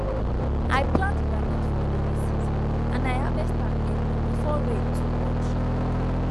i plant groundnut for rainy season and i harvest am early before rain too much